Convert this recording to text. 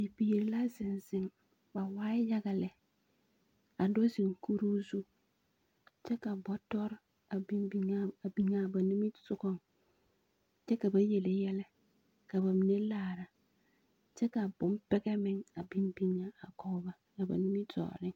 Bie la zeŋ zeŋ. Ba waa yaga lɛ. a do zeŋ kuruu zu, kyɛ ka bɔtɔre a biŋ biŋ a a biŋ a a ba niŋesogɔŋ, kyɛ ka ba yele yɛlɛ, ka ba mine laare, kyɛ ka bompɛgɛ meŋ a biŋ biŋ a kɔge ba a ba nimitɔɔreŋ.